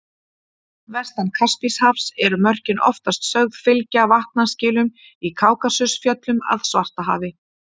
Vestan Kaspíahafs eru mörkin oftast sögð fylgja vatnaskilum í Kákasusfjöllum að Svartahafi.